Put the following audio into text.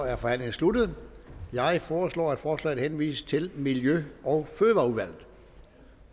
er forhandlingen sluttet jeg foreslår at forslaget henvises til miljø og fødevareudvalget